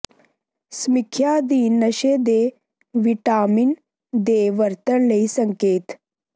ਸਮੀਖਿਆ ਅਧੀਨ ਨਸ਼ੇ ਦੇ ਿਵਟਾਿਮਨ ਦੇ ਵਰਤਣ ਲਈ ਸੰਕੇਤ